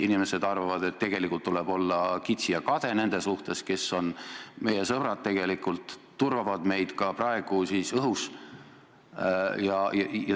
Inimesed arvavad, et tuleb olla kitsi ja kade nende suhtes, kes on tegelikult meie sõbrad ja turvavad meid ka praegu õhus.